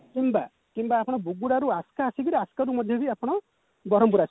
କିମ୍ବା କିମ୍ବା ଆପଣ ବୁଗୁଡାରୁ ଆସ୍କା ଆସିକିରି ଆସ୍କାରୁ ମଧ୍ୟ ବି ଆପଣ ବରମ୍ପୁର ଆସିପାରିବେ